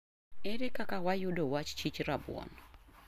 ere kaka wayudo wach chich rabuon